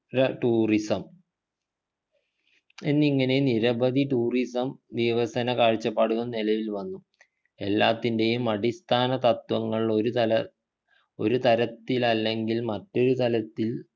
ര tourism എന്നിങ്ങനെ നിരവധി tourism വികസന കാഴ്ചപ്പാടുകൾ നിലവിൽ വന്നു എല്ലാത്തിൻ്റെയും അടിസ്ഥാനതത്ത്വങ്ങൾ ഒരു തല ഒരു തരത്തിലല്ലെങ്കിൽ മറ്റൊരു തലത്തിൽ